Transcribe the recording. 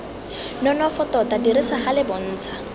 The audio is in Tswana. nonofo tota dirisa gale bontsha